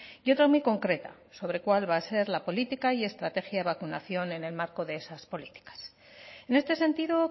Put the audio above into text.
y otra muy concreta sobre cuál va a ser la política y estrategia de vacunación en el marco de esas políticas en este sentido